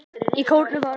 Í kórnum var